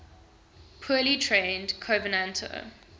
poorly trained covenanter